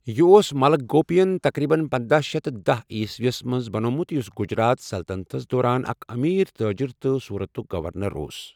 یہِ اوس ملک گوپیَن تقریباً پنداہ شیِتھ تہٕ داہ عیسویَس منٛز بَنومُت یُس گجرات سلطنتَس دوران اکھ أمیٖر تاجر تہٕ سورتُک گورنر اوس۔